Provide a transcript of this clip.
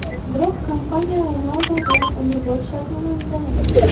Biroq kompaniya Ronaldu bilan umrbod shartnoma imzolamoqchi.